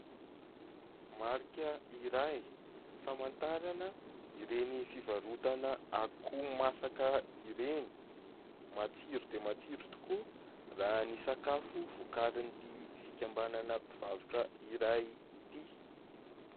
Marika iray famatarana ireny fivarotana akoho masaka ireny. Matsiro dia matsiro tokoa raha ny sakafo vokarin'ity fikambanana mpivarotra iray ity.